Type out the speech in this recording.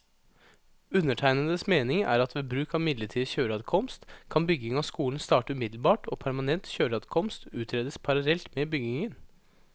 Undertegnedes mening er at ved bruk av midlertidig kjøreadkomst, kan bygging av skolen starte umiddelbart og permanent kjøreadkomst utredes parallelt med byggingen.